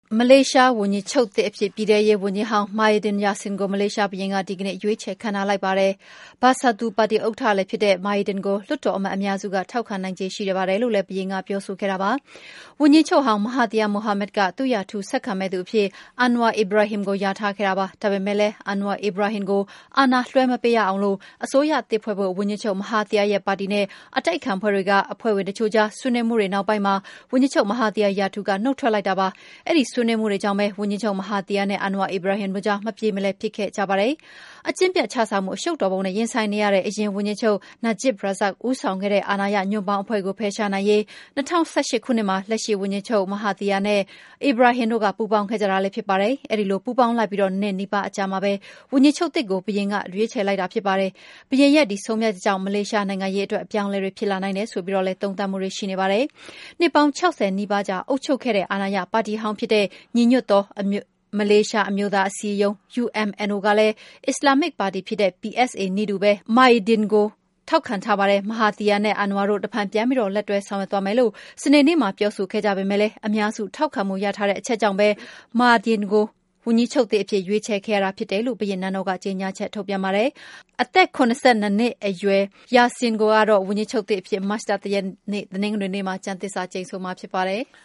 မလေးရှားဝန်ကြီးချုပ်သစ်အဖြစ် ပြည်ထဲရေးဝန်ကြီးဟောင်း Muhyiddin Yassin ကို မလေးရှားဘုရင်က ဒီကနေ့ ရွေးချယ်ခန့်ထားလိုက်ပါတယ်။ Bersatu ပါတီဥက္ကဋ္ဌလည်းဖြစ်တဲ့ Muhyiddin ကို လွှတ်တော်အမတ်အများစု ထောက်ခံနိုင်ခြေ ရှိပါတယ်လို့လည်း ဘုရင်က ပြောဆိုခဲ့တာပါ။ ဝန်ကြီးချုပ်ဟောင်း မဟာသီယာက ၂၀၁၈ မှာ ရွေးကောက်ပွဲအနိုင်ရပြီး နောက် ၂ နှစ်ကြာရင် Anwar Ibrahim ကို ဝန်ကြီးချုပ်နေရာ ပေးမယ်လို့ ကတိပေးထားတာပါ။ ဒါပေမယ့်လည်း Anwar Ibrahim ကို အာဏာလွှဲမပေးရအောင် အစိုးရသစ်ဖွဲ့ဖို့ ဝန်ကြီးချုပ် မဟာသီယာရဲ့ ပါတီနဲ့ အတိုက်အခံ အဖွဲ့ဝင်တချို့ကြား ဆွေးနွေးမှုတွေ နောက်ပိုင်းမှာ ဝန်ကြီးချုပ် မဟာသီယာ ရာထူးက နုတ်ထွက်တာပါ။ အဲဒီဆွေးနွေးမှုတွေကြောင့် ဝန်ကြီးချုပ် မဟာသီယာနဲ့ Anwar Ibrahim တို့ကြားမှာ မပြေမလည် ဖြစ်ခဲ့ကြတာပါ။ အကျင့်ပျက်ခြစားမှု အရှုပ်တော်ပုံနဲ့ ရင်ဆိုင်နေရတဲ့ အရင်ဝန်ကြီးချုပ် Najib Razak ဦးဆောင်တဲ့ အာဏာရ ညွန့်ပေါင်းအဖွဲ့ကို ဖယ်ရှားနိုင်ရေးအတွက် ၂၀၁၈ ခုနှစ်မှာ လက်ရှိဝန်ကြီးချုပ် မဟာသီယာနဲ့ Anwar Ibrahim တို့ ပူးပေါင်းခဲ့ကြတာလည်း ဖြစ်ပါတယ်။ အဲဒီလို ပူးပေါင်းလိုက်ပြီး ၂ နှစ်နီးပါး အကြာမှာပဲ ဝန်ကြီးချုပ်သစ်ကို ရွေးချယ်လိုက်တဲ့ ဘုရင်ရဲ့ ဆုံးဖြတ်ချက်ကြောင့် မလေးရှားနိုင်ငံရေးအတွက် အပြောင်းအလဲတွေ ဖြစ်လာနိုင်တယ်ဆိုပြီး သုံးသပ်မှုတွေလည်း ရှိနေပါတယ်။ နှစ်ပေါင်း ၆၀ နီးပါးကြာ အုပ်ချုပ်ခဲ့တဲ့ အာဏာရပါတီဟောင်းဖြစ်တဲ့ ညီညွှတ်သော မလေးရှားအမျိုးသားအစည်းအရုံး (UMNO) ကလည်း အစ္စလာမ္မစ်ပါတီဖြစ်တဲ့ PAS နည်းတူ Muhyiddin ကို ထောက်ခံထားပါတယ်။ မဟာသီယာနဲ့ Anware တို့ တဖန်ပြန်ပြီး ဆက်ပြီး လက်တွဲဆောင်ရွက်သွားမယ်လို့ စနေနေ့မှာ ပြောဆိုခဲ့ပေမယ့်လည်း အများစုထောက်ခံမှု ရထားတဲ့ အချက်ကြောင့် Muhyiddin ကို ဝန်ကြီးချုပ်သစ်အဖြစ် ရွေးချယ်ခဲ့ရတာဖြစ်တယ်လို့ ဘုရင့်နန်းတော်က ကြေညာချက် ထုတ်ပြန်ပါတယ်။ အသက် ၇၂ နှစ်အရွယ် Muhyiddin ကတော့ ဝန်ကြီးချုပ်သစ်အဖြစ် မတ်လ ၁ ရက်နေ့ တနင်္ဂနွေနေ့မှာ ကျမ်းသစ္စာကျိန်ဆိုရမှာ ဖြစ်ပါတယ်။